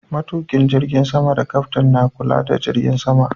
Matuƙin jirgin sama da Kyaftin na kula da jirgin sama.